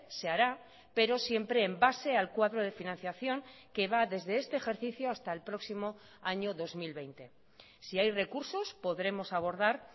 se hará pero siempre en base al cuadro de financiación que va desde este ejercicio hasta el próximo año dos mil veinte si hay recursos podremos abordar